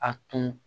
A tun